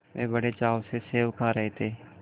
वे बड़े चाव से सेब खा रहे थे